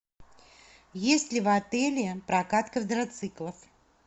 есть ли в отеле прокат квадроциклов